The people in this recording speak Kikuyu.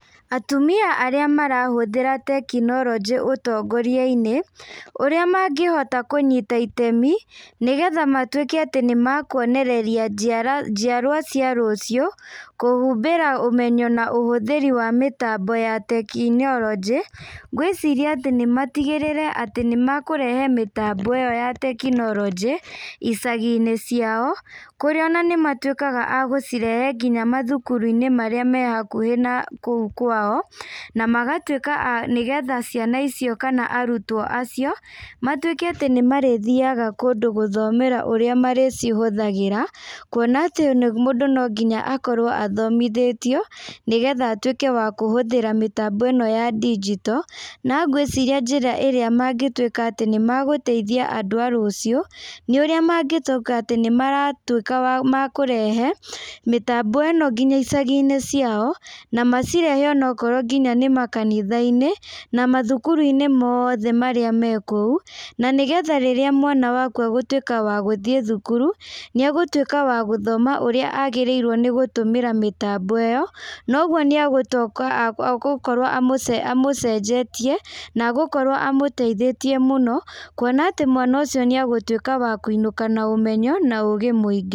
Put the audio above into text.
Atumia arĩa marahũthĩra tekinoronjĩ ũtongoria-inĩ, ũrĩa mangĩhota kũnyita itemi, nĩgetha matuĩke atĩ nĩmekwonereria njiara njiarwa cia rũcio, kũhumbĩra ũmenyo na ũhũthĩri wa mĩtambo ya tekinyoronjĩ, ngwĩciria atĩ nĩ matigĩrĩre atĩ nĩ mekũrehe mĩtambo ĩyo ya tekinoronjĩ, icagi-inĩ ciao, kũrĩa ona nĩ matuĩkaga agũcirehe nginya mathukuru-inĩ marĩa mehakuhĩ na kũu kwao, na magatuĩka a nĩgetha ciana icio kana arutwo acio, matuĩke atĩ nĩ marĩthiaga kũndũ gũthomera ũrĩa marĩcihothagĩra, kuona atĩ mũndũ no nginya akorwo athomithĩtio, nĩgetha atũĩke wa kũhũthĩra mĩtambo ĩno ya ndigito, na ngwĩciria njĩra ĩrĩa mangĩtuĩka atĩ nĩmegũteithia andũ a rũcio, nĩ ũrĩa mangĩcoka atĩ nĩ maratuĩka makũrehe mĩtambo ĩno nginya icagi-inĩ ciao, na macirehe o nokorwo nginya nĩ makanitha-inĩ, na mathukuru-inĩ moothe marĩa mekũu, na nĩgetha rĩrĩa mwana waku egũtuĩka wa gũthiĩ thukuru, nĩ egũtuĩka wa gũthoma ũrĩa agĩrĩire nĩ gũtũmĩra mĩtambo ĩyo, noguo nĩ egũtoka agũkorwo amũ amũcenjetie, na egũkorwo amũteithĩtie mũno, kuona atĩ mwana ũcio nĩ egũtuĩka wa kũinũka na ũmenyo na ũgĩ mũingĩ.